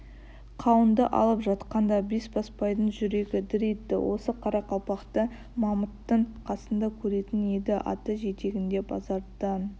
қауынды алып жатқанда бесбасбайдың жүрегі дір етті осы қарақалпақты мамыттың қасында көретін еді аты жетегінде базардан